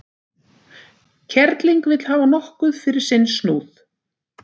Kerling vill hafa nokkuð fyrir sinn snúð.